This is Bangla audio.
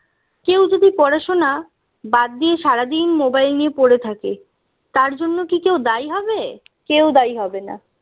কেউ যদি পড়াশোনা বাদ দিয়ে সারাদিন mobile নিয়ে পড়ে থাকে তার জন্য কি কেউ দায়ী হবে কেউ দায়ী হবে না